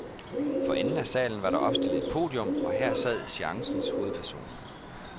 For enden af salen var der opstillet et podium, og her sad seancens hovedpersoner.